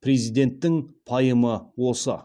президенттің пайымы осы